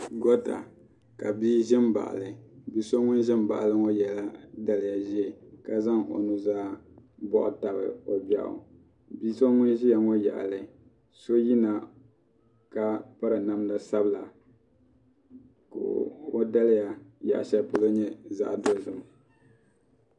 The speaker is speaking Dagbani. Goota ka bia ʒi m baɣali bia so ŋun ʒin baɣali maa yela daliya ʒee ka zaŋ o nuzaa boɣu tabi o gbeɣu bia so ŋun ʒia ŋɔ yaɣali so yina ka piri namda sabila ka o daliya yaɣasheli polo nyɛ zaɣa dozim.